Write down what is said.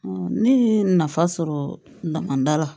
ne ye nafa sɔrɔ damada la